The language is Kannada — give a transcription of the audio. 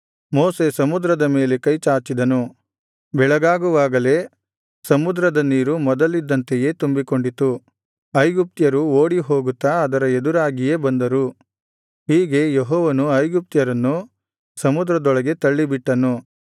ಮೋಶೆ ಸಮುದ್ರದ ಮೇಲೆ ಕೈಚಾಚಿದನು ಬೆಳಗಾಗುವಾಗಲೇ ಸಮುದ್ರದ ನೀರು ಮೊದಲಿದ್ದಂತೆಯೇ ತುಂಬಿಕೊಂಡಿತು ಐಗುಪ್ತ್ಯರು ಓಡಿಹೋಗುತ್ತಾ ಅದರ ಎದುರಾಗಿಯೇ ಬಂದರು ಹೀಗೆ ಯೆಹೋವನು ಐಗುಪ್ತ್ಯರನ್ನು ಸಮುದ್ರದೊಳಗೆ ತಳ್ಳಿಬಿಟ್ಟನು